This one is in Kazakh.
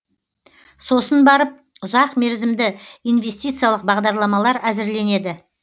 сосын барып ұзақмерзімді инвестициялық бағдарламалар әзірленеді